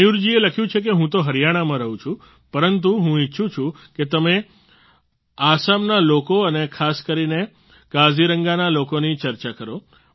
મયૂર જીએ લખ્યું છે કે હું તો હરિયાણામાં રહું છું પરંતુ હું ઈચ્છું છું કે તમે આસામના લોકો અને ખાસ કરીને કાઝીરંગાના લોકોની ચર્ચા કરો